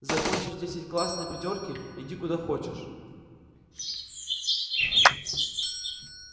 закончишь десять класс на пятёрки иди куда хочешь